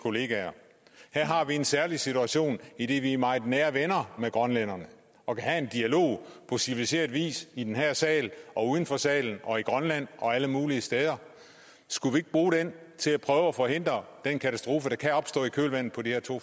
kollegaer her har vi en særlig situation idet vi er meget nære venner med grønlænderne og kan have en dialog på civiliseret vis i den her sal og uden for salen og i grønland og alle mulige steder skulle vi ikke bruge den til at prøve at forhindre den katastrofe der kan opstå i kølvandet på de her to